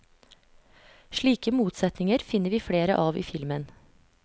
Slike motsetninger finner vi flere av i filmen.